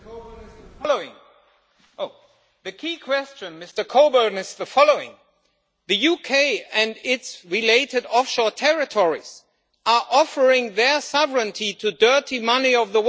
The key question here, Mr Coburn, is the following the UK and its related offshore territories are offering their sovereignty to the dirty money of the world with zero tax rates.